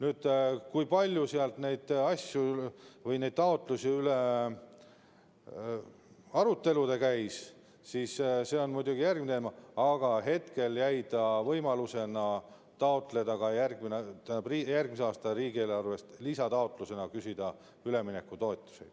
See, kui palju sealt neid taotlusi arutati või missugune arutelu nende üle käis, on muidugi järgmine teema, aga hetkel jäi võimalus küsida järgmise aasta riigieelarvest lisataotlusena üleminekutoetusi.